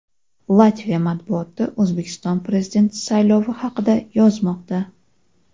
Latviya matbuoti O‘zbekiston Prezidenti saylovi haqida yozmoqda.